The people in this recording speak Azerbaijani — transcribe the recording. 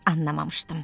Anlamamışdım.